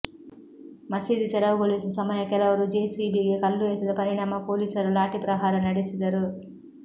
ಮಸೀದಿ ತೆರವುಗೊಳಿಸುವ ಸಮಯ ಕೆಲವರು ಜೆಸಿಬಿಗೆ ಕಲ್ಲು ಎಸೆದ ಪರಿಣಾಮ ಪೊಲೀಸರು ಲಾಠಿ ಪ್ರಹಾರ ನಡೆಸಿದರು